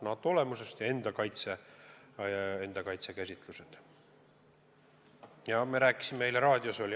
NATO olemusest ja kaitsekäsitustest me rääkisime eile raadios.